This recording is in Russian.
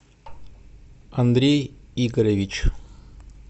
андрей игоревич